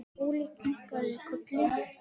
Óli kinkaði kolli.